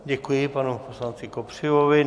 Děkuji panu poslanci Kopřivovi.